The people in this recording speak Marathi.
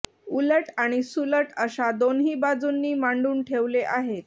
उलट आणि सुलट अशा दोन्ही बाजूंनी मांडून ठेवले आहेत